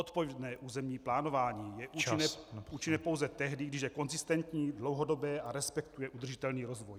Odpovědné územní plánování je účinné pouze tehdy, když je konzistentní, dlouhodobé a respektuje udržitelný rozvoj.